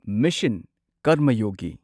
mission ꯀꯔꯃꯌꯣꯒꯤ